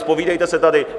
Zpovídejte se tady.